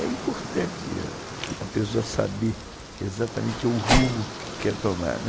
É importante a pessoa saber exatamente o rumo que quer tomar.